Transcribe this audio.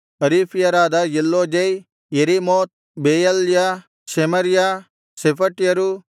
ಹರೀಫ್ಯರಾದ Eluzai Jerimoth Bealiah Shemariah ಶೆಫಟ್ಯರು